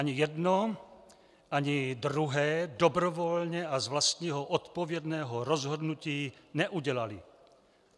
Ani jedno, ani druhé dobrovolně a z vlastního odpovědného rozhodnutí neudělali.